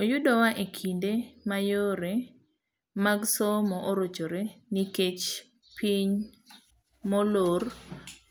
Oyudowa ekinde ma yore bmag somo orochre nikech piny molor